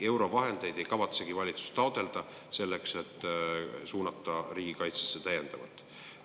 Eurovahendeid ei kavatsegi valitsus taotleda selleks, et suunata neid täiendavalt riigikaitsesse.